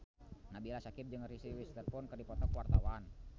Nabila Syakieb jeung Reese Witherspoon keur dipoto ku wartawan